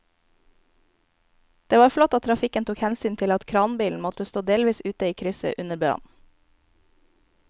Det var flott at trafikken tok hensyn til at kranbilen måtte stå delvis ute i krysset under brannen.